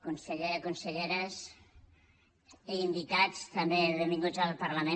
conseller conselleres i invitats també benvinguts al parlament